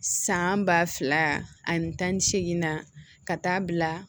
San ba fila ani tan ni seegin na ka taa bila